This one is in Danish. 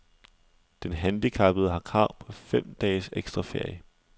Den handicappede har krav på fem dages ekstra ferie.